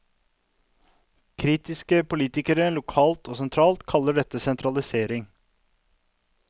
Kritiske politikere lokalt og sentralt kaller dette sentralisering.